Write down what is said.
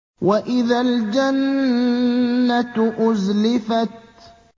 وَإِذَا الْجَنَّةُ أُزْلِفَتْ